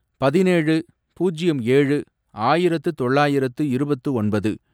பதினேழு, பூஜ்யம் ஏழு, ஆயிரத்து தொள்ளாயிரத்து இருபத்து ஒன்பது